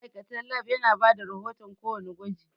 Ma'aikatan Lab yana bada rahoton ko wanna gwaji